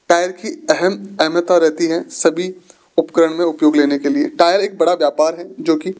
tyre की अहम अहमता रहती है सभी उपकरण में उपयोग लेने के लिए टायर एक बड़ा व्यापार है जो की --